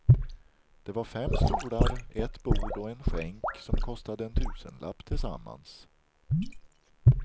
Det var fem stolar, ett bord och en skänk som kostade en tusenlapp tillsammans.